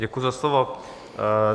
Děkuji za slovo.